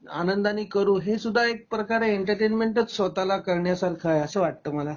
आनंदाने करू हे सुद्धा एक प्रकारे एंटरटेनमेंटच स्वत: ला करण्यासारख आहे अस वाटत मला